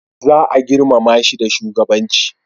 za a girmama shi da shugabanci